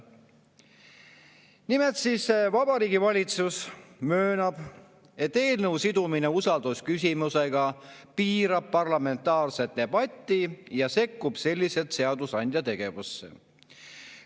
Nimelt, Vabariigi Valitsus möönab, et eelnõu sidumine usaldusküsimusega piirab parlamentaarset debatti ja sekkub selliselt seadusandja tegevusse.